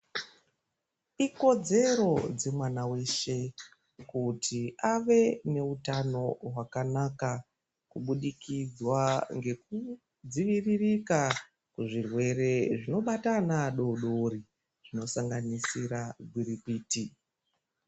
Ikodzero dzemwana weshe kuti ave neutano hwakanaka. Kubudikidza ngekudziviririka kuzvirwere zvinobata ana adoodori, zvinosanganisira gwirikwiti.